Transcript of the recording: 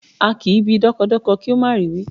A kì í bi dọ́kọdọkọ kí ó má rì í wí